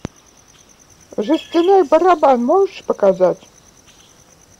жестяной барабан можешь показать